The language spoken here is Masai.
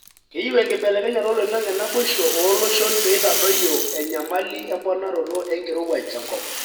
keyieu enkibelekenyata oloingange nabosho olooshon peitadoyio enyamali emponaroto enkirowuaj tenkop.